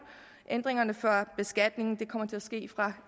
ændringerne for beskatningen kommer til at ske fra